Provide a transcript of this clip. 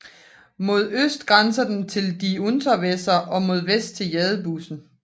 Mod øst grænser den til die Unterweser og mod vest til Jadebusen